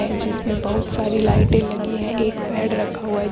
जिसमें बहुत सारी लाइटें लगी हैं एक बेड रखा हुआ है जिस--